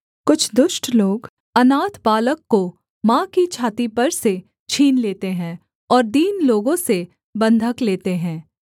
कुछ दुष्ट लोग अनाथ बालक को माँ की छाती पर से छीन लेते हैं और दीन लोगों से बन्धक लेते हैं